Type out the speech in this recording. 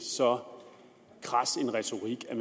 så kras en retorik at